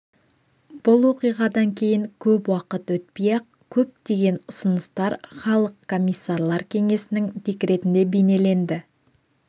бұл оқиғадан кейін көп уақыт өтпей-ақ көптеген ұсыныстар халық комиссарлар кеңесінің декретінде бейнеленді